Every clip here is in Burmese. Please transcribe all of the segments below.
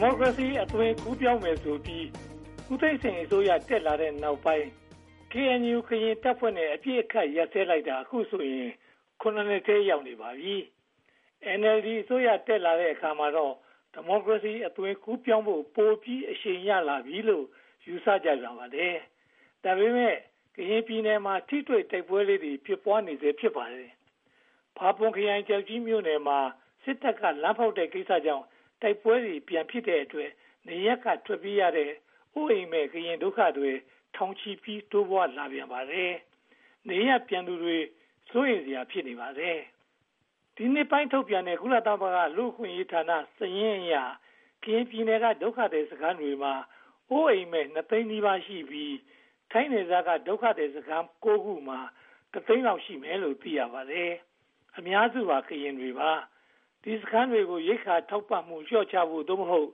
မိုကရေစီ အသွင်ကူးပြောင်းမယ်ဆိုပြီး ဦးသိန်းစိန်အစိုးရ တက်လာပြီးနောက်ပိုင်းမှာ ကရင်တပ်ဖွဲ့နဲ့ အပစ်အခတ်ရပ်စဲလိုက်တာ အခုဆိုရင် (၇) နှစ်ထဲ ရောက်ရှိနေပါပြီ။ NLD အစိုးရ တက်လာတဲ့အချိန်မှာတော့ ဒီမိုကရေစီ အသွင်ကူးပြောင်းဖို့ ပိုပြီးအရှိန်ရလာပြီလို့ ယူဆကြပြန်ပါတယ်။ ဒါပေမဲ့ ကရင်ပြည်နယ်မှာ ထိတွေ့တိုက်ပွဲလေးတွေ ဖြစ်ပွားနေဆဲ ဖြစ်ပါတယ်။ ဖာပွန်ခရိုင်၊ ကျောက်ကြီးမြို့နယ်မှာ စစ်တပ်က လမ်းဖောက်တဲ့ကိစ္စကြောင့် တိုက်ပွဲတွေ ဖြစ်ပြန်တဲ့အတွက် နေရပ်က ထွက်ပြေးရတဲ့ အိုးအိမ်မဲ့ ကရင်ဒုက္ခသည်တွေ ထောင်ချီပြီး တိုးပွားလာပြန်ပါတယ်။ နေရပ်ပြန်မယ့်သူတွေ စိုးရိမ်စရာ ဖြစ်နေပါတယ်။ ဒီနှစ်ဆန်းပိုင်း ထုတ်ပြန်တဲ့ ကုလသမဂ္ဂ လူ့အခွင့်အရေးဌာန စာရင်းအရ ကရင်ပြည်နယ်က ဒုက္ခသည်စခန်းတွေမှာ အိုးအိမ်မဲ့ (၂) သိန်းနီးပါးရှိပြီး၊ ထိုင်းနယ်စပ်က ဒုက္ခသည်စခန်း (၉) ခုမှာတော့ တစ်သိန်းလောက် ရှိမယ်လို့ သိရပါတယ်။ အများစုက ကရင်လူမျိုးတွေ ဖြစ်ပါတယ်။ ဒီစခန်းတွေကို ရိက္ခာထောက်ပံ့မှု လျော့ချဖို့ (သို့မဟုတ်)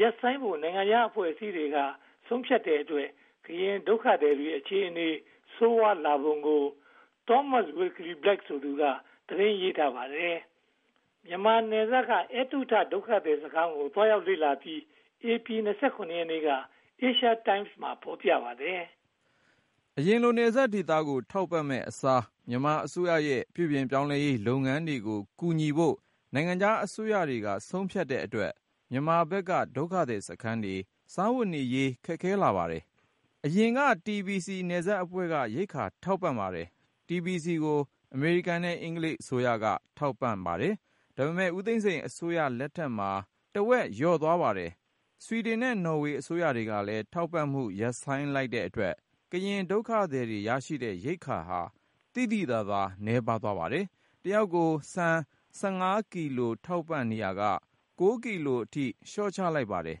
ရပ်ဆိုင်းဖို့ နိုင်ငံခြားအဖွဲ့အစည်းတွေက ဆုံးဖြတ်တဲ့အတွက် ကရင်ဒုက္ခသည်တွေ အခြေအနေ ဆိုးဝါးလာပုံကို Thomas Wilkie-Black ဆိုသူ သတင်းရေးထားပါတယ်။ မြန်မာနယ်စပ်က ‘အဲတုထ’ ဒုက္ခသည်စခန်းကို သွားရောက်လေ့လာပြီး ဧပြီလ (၂၇) ရက်က Asia Times မှာ ဖော်ပြထားပါတယ်။ အရင်လို နယ်စပ်ဒေသတွေကို ထောက်ပံ့မယ့်အစား မြန်မာအစိုးရရဲ့ ပြုပြင်ရေးလုပ်ငန်းတွေကို ကူညီဖို့ နိုင်ငံခြားအစိုးရတွေက ဆုံးဖြတ်တဲ့အတွက် မြန်မာဘက်က ဒုက္ခသည်စခန်းတွေ စားဝတ်နေရေး ခက်ခဲလာပါတယ်။ အရင်ကတော့ TBC နယ်စပ်အဖွဲ့က ရိက္ခာထောက်ပံ့ပါတယ်။ TBC ကို အမေရိကန်နဲ့ အင်္ဂလိပ် အစိုးရတို့က ထောက်ပံ့ပါတယ်။ ဒါပေမဲ့ ဦးသိန်းစိန်အစိုးရလက်ထက်မှာ တဝက်လောက် လျော့သွားပါတယ်။ ဆွီဒင်နဲ့ နော်ဝေအစိုးရတို့ကလည်း ထောက်ပံ့မှုရပ်ဆိုင်းလိုက်တဲ့အတွက် ကရင်ဒုက္ခသည်တွေ ရရှိတဲ့ရိက္ခာဟာ သိသိသာသာ နည်းပါးသွားပါတယ်။ တယောက်ကို ဆန် (၁၅) ကီလို ထောက်ပံ့နေရာက (၉) ကီလိုအထိ လျှော့ချလိုက်ပါတယ်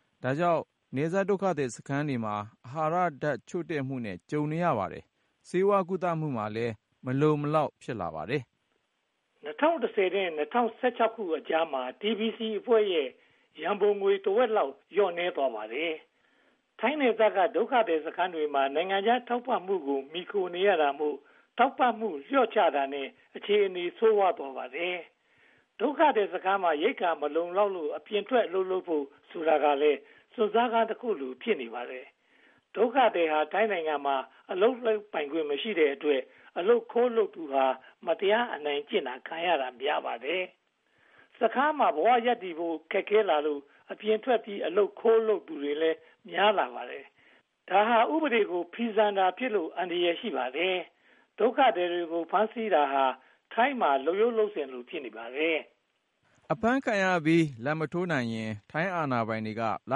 ။ ဒါကြောင့် နယ်စပ်ဒုက္ခသည်စခန်းတွေမှာ အာဟာရဓါတ်ချို့တဲ့မှုနဲ့ တွေ့ကြုံနေရပါတယ်။ ဆေးဝါးကုသမှုမှာလည်း မလုံမလောက် ဖြစ်လာပါတယ်။ ၂၀၁၀ နဲ့ ၂၀၁၆ ခုနှစ်ကြားမှာ TBC အဖွဲ့ရဲ့ ရန်ပုံငွေ တဝက်လောက် လျော့နည်းသွားပါတယ်။ ထိုင်းနယ်စပ်က ဒုက္ခသည်စခန်းတွေမှာ နိုင်ငံခြားထောက်ပံ့မှုကို မှီခိုနေရတာမို့ ထောက်ပံ့မှု လျော့ချတာနဲ့ အခြေအနေ ဆိုးဝါးသွားပါတယ်။ ဒုက္ခသည်စခန်းမှာ ရိက္ခာမလုံလောက်လို့ အပြင်ဘက်ထွက် အလုပ်လုပ်ဖို့ဆိုတာကလည်း စွန့်စားခန်းတခုလို ဖြစ်နေပါတယ်။ ဒုက္ခသည်ဟာ ထိုင်းနိုင်ငံမှာ အလုပ်လုပ်ခွင့်မရှိတဲ့အတွက် အလုပ်ခိုးလုပ်သူဟာ မတရားအနိုင်ကျင့်ခံရတာ များပါတယ်။ စခန်းထဲမှာ ဘဝရပ်တည်ဖို့ ခက်ခဲလာလို့ အပြင်ထွက်ပြီး အလုပ်ခိုးလုပ်သူတွေ များလာပါတယ်။ ဒါဟာ ဥပဒေကို ဖီဆန်တာဖြစ်လို့ အန္တရာယ် ရှိပါတယ်။ ဒုက္ခသည်တွေကို ဖမ်းဆီးတာဟာ ထိုင်းနိုင်ငံမှာ လုပ်ရိုးလုပ်စဉ်လို ဖြစ်နေပါတယ်။ အဖမ်းခံရပြီး လာဘ်မထိုးနိုင်ရင် ထိုင်းအာဏာပိုင်တွေက လ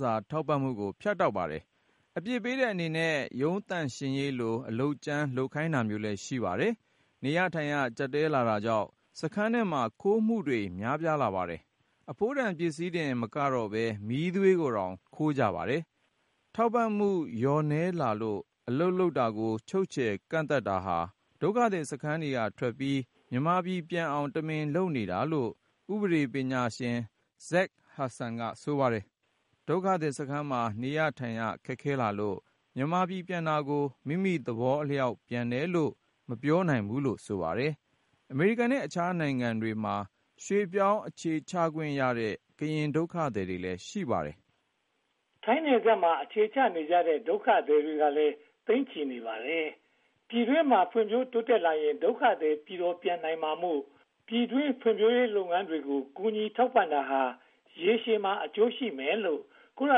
စာထောက်ပံ့မှုကို ဖြတ်တောက်ပါတယ်။ အပြစ်ပေးတဲ့အနေနဲ့ ရုံးသန့်ရှင်းရေးကို အလုပ်ကြမ်းခိုင်းတာမျိုးလည်း ရှိပါတယ်။ နေရထိုင်ရ ကျပ်တည်းလာတာကြောင့် စခန်းထဲမှာ ခိုးမှုတွေလည်း များပြားလာပါတယ်။ အဖိုးတန်ပစ္စည်းတင်မကတော့ဘဲ မီးသွေးကိုတောင် ခိုးကြတယ်လို့ ဆိုပါတယ်။ ထောက်ပံ့မှုလျော့နည်းလာလို့ အလုပ်လုပ်တာကို ချုပ်ချယ်ကန့်သတ်တာဟာ ဒုက္ခသည်စခန်းကထွက်ပြီး မြန်မာပြည်ပြန်အောင် တမင်လုပ်နေတာလို့ ဥပဒေပညာရှင် Zach Hudson က ဆိုပါတယ်။ ဒုက္ခသည်စခန်းမှာ နေရထိုင်ရ ခက်ခဲလာလို့ မြန်မာပြည်ပြန်တာကို မိမိသဘောအလျောက် ပြန်တယ်လို့ မပြောနိုင်ဘူးလို့ ဆိုပါတယ်။ အမေရိကန်နဲ့ အခြားနိုင်ငံတွေမှာ ရွှေ့ပြောင်းအခြေစိုက်ခွင့်ရတဲ့ ကရင်ဒုက္ခသည်တွေလည်း ရှိပါတယ်။ ထိုင်းနယ်စပ်မှာ အခြေချနေကြတဲ့ ဒုက္ခသည်တွေကလည်း သိန်းချီရှိနေပါတယ်။ ပြည်တွင်းမှာ ဖွံ့ဖြိုးတိုးတက်လာရင် ဒုက္ခသည်တွေ ပြည်တော်ပြန်နိုင်တာမို့ ပြည်တွင်းဖွံ့ဖြိုးရေးလုပ်ငန်းတွေကို ကူညီထောက်ပံ့တာဟာ ရေရှည်မှာ အကျိုးရှိမယ်လို့ ကုလ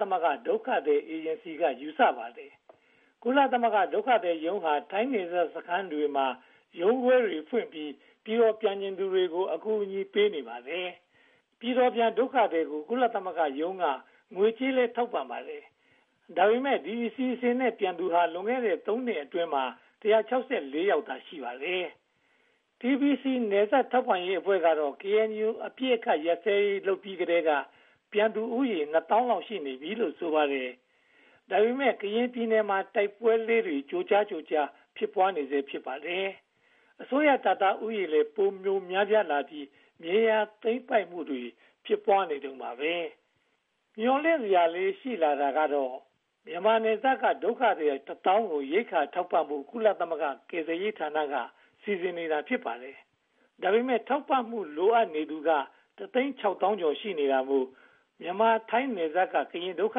သမဂ္ဂ ဒုက္ခသည်အေဂျင်စီက ယူဆပါတယ်။ ကုလသမဂ္ဂဒုက္ခသည်ရုံးဟာ ထိုင်းနယ်စပ်ဒုက္ခသည်စခန်းတွေမှာ ရုံးခွဲတွေဖွင့်ပြီး ပြည်တော်ပြန်ချင်သူတွေကို အကူအညီပေးနေပါတယ်။ ပြည်တော်ပြန်ဒုက္ခသည်တွေကို ကုလသမဂ္ဂရုံးက ငွေကြေးကလည်း ထောက်ပံ့ပါတယ်။ ဒါပေမဲ့ ဒီအစီအစဉ်နဲ့ ပြန်သူတွေဟာ လွန်ခဲ့တဲ့ သုံးနှစ်အတွင်းမှာ (၁၆၄) ယောက်သာ ရှိပါတယ်။ TBC နယ်စပ်ဒေသ ထောက်ပံ့ရေးအဖွဲ့ကတော့ KNU အပစ်အခတ်ရပ်စဲရေးလုပ်ပြီးကတည်းက ပြန်သူဦးရေ (၂) သောင်းလောက်ရှိပြီလို့ ဆိုပါတယ်။ ဒါပေမဲ့ ကရင်ပြည်နယ်မှာ တိုက်ပွဲလေးတွေ ကြိုးကြားကြိုးကြား ဖြစ်ပွားနေတုန်းပါ။ မျှော်လင့်စရာလေးတွေ ရှိလာတာကတော့ မြန်မာနယ်စပ်က ဒုက္ခသည် တစ်သောင်းကို ရိက္ခာထောက်ပံ့ဖို့ ကုလသမဂ္ဂကယ်ဆယ်ရေးဌာနက စီစဉ်နေတာ ဖြစ်ပါတယ်။ ဒါပေမဲ့ ထောက်ပံ့မှု လိုအပ်နေသူတွေက တစ်သိန်းခြောက်သောင်းနှစ်ထောင် ရှိနေတာမို့ မြန်မာ-ထိုင်းနယ်စပ်က ကရင်ဒုက္ခ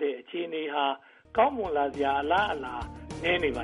သည် အခြေအနေဟာ ကောင်းမွန်လာစရာ အလားအလာ နည်းနေပါ